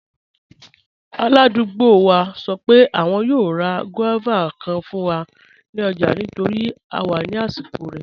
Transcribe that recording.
Aládùgbò wa sọ pé àwọn yòò rá guavas kàn fún wa ní ọ̀jà nítorí à wà ní àsìkò rẹ̀.